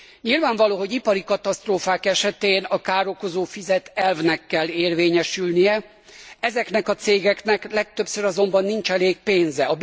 Nyilvánvaló, hogy ipari katasztrófák esetén a károkozó fizet elvnek kell érvényesülnie, ezeknek a cégeknek legtöbbször azonban nincs elég pénze.